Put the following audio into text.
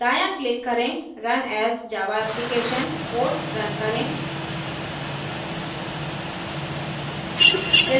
दायाँ click करें run as java application code run करें